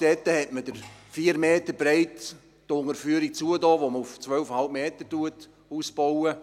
In Altstätten hat man die 4 Meter breite Unterführung geschlossen, die man auf 12,5 Meter ausbaut.